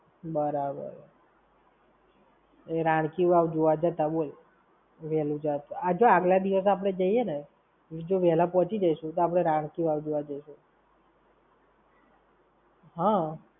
બરાબર. એ રણકી વાવ જોવા જતા, બોલ. વેહલું કેત તો. અચ્છા આગલા દિવસે આપણે જઈએ ને જો વેહલા પહોંચી જઈશું, તો આપણે રણકી વાવ જોવા જઈશું.